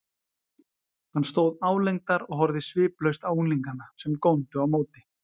Hann stóð álengdar og horfði sviplaust á unglingana, sem góndu á móti.